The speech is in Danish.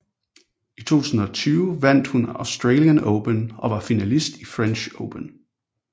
I 2020 vandt hun Australian Open og var finalist i French Open